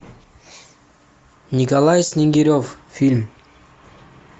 николай снегирев фильм